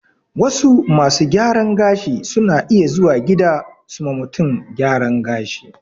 Wasu masu gyaran gashin suna iya zuwa gida su ma mutum gyaran gashi